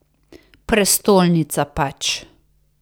Prestolnica pač.